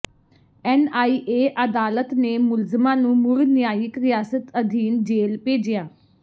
NIA ਅਦਾਲਤ ਨੇ ਮੁਲਜ਼ਮਾਂ ਨੂੰ ਮੁੜ ਨਿਆਇਕ ਹਿਰਾਸਤ ਅਧੀਨ ਜੇਲ੍ਹ ਭੇਜਿਆ